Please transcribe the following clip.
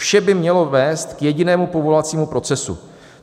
Vše by mělo vést k jedinému povolovacímu procesu.